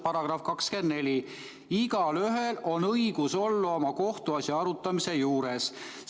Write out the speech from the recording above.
§ 24: "Igaühel on õigus olla oma kohtuasja arutamise juures.